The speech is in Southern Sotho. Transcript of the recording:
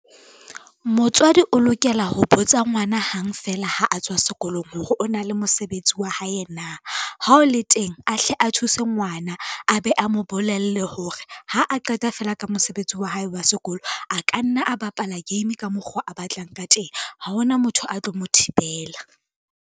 Motswadi o lokela ho botsa ngwana hang feela ha a tswa sekolong hore o na le mosebetsi wa hae na, ha o le teng a hle a thuse ngwana a be a mo bolelle hore ha a qeta feela ka mosebetsi wa hae wa sekolo, a ka nna a bapala game ka mokgo a batlang ka teng, ha hona motho a tlo mo thibela.